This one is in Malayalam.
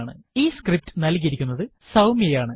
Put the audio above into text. ഈ സ്ക്രിപ്റ്റ് നല്കിയിരിക്കുന്നത് സൌമ്യ ആണ്